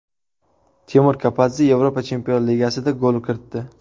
Temur Kapadze Yevropa chempionlar ligasida gol kiritdi.